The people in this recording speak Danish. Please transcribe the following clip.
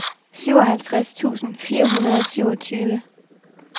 syvoghalvtreds tusind fire hundrede og syvogtyve